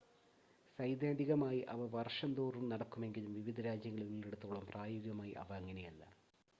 സൈദ്ധാന്തികമായി അവ വർഷം തോറും നടക്കുമെങ്കിലും വിവിധ രാജ്യങ്ങളിൽ ഉള്ളിടത്തോളം പ്രായോഗികമായി അവ അങ്ങനെയല്ല